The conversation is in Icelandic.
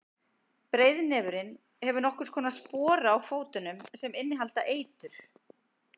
breiðnefurinn hefur nokkurs konar spora á fótunum sem innihalda eitur